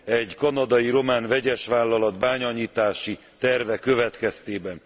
egy kanadai román vegyesvállalat bányanyitási terve következtében.